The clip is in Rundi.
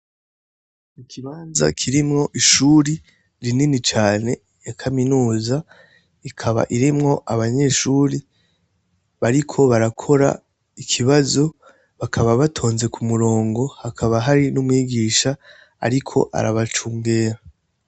Ikimanza kirimwo ishuri rinini cane ya kaminuza ikaba irimwo abanyeshuri bariko barakora ikibazo bakaba batonze ku murongo hakaba hari n'umwigisha, ariko arabacaungera.